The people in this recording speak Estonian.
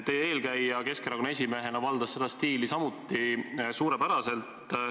Teie eelkäija Keskerakonna esimehena valdas seda stiili samuti suurepäraselt.